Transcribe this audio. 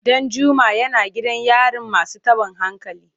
Danjuma yana gidan yarin masu tabin hankali.